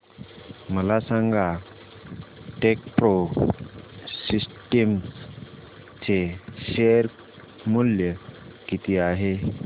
मला सांगा Techpro systems चे शेअर मूल्य किती आहे